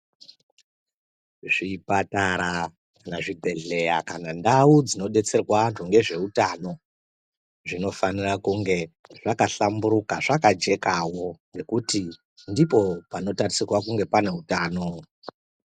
Zvipatara kana zvibhehleya kana ndau dzinodetserwa antu nezveutano zvinofanira kunge zvakahlamburuka, zvakajekawo ngekuti ndipo panotarisirwa kunge pane utano.